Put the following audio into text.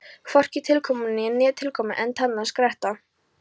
Hvorki tilkomumeira né tilkomuminna en tannlaus gretta.